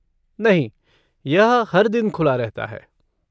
नहीं, यह हर दिन खुला रहता है।